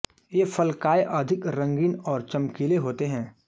ये फलकाय अधिक रंगीन और चमकीले होते हैं